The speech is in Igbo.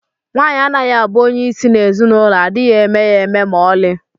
Nwaanyị anaghị abụ onye isi na ezinụlọ adịghị eme ya eme ma oli